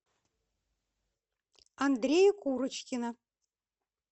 андрея курочкина